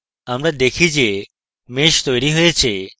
আমরা দেখি যে mesh তৈরী হয়েছে